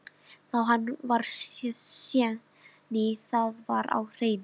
Vá, hann var séní, það var á hreinu.